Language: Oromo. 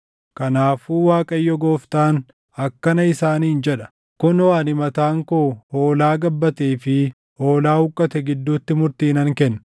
“ ‘Kanaafuu Waaqayyo Gooftaan akkana isaaniin jedha: Kunoo, ani mataan koo hoolaa gabbatee fi hoolaa huqqate gidduutti murtii nan kenna.